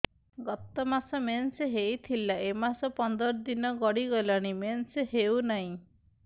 ଗତ ମାସ ମେନ୍ସ ହେଇଥିଲା ଏ ମାସ ପନ୍ଦର ଦିନ ଗଡିଗଲାଣି ମେନ୍ସ ହେଉନାହିଁ